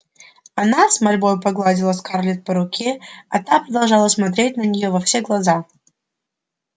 она с мольбой погладила скарлетт по руке а та продолжала смотреть на нее во все глаза